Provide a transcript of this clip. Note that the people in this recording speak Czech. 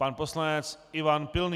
Pan poslanec Ivan Pilný.